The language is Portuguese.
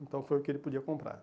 Então foi o que ele podia comprar.